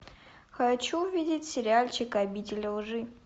хочу увидеть сериальчик обитель лжи